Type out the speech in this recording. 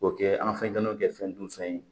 K'o kɛ an fɛnw kɛ fɛn dunfɛn ye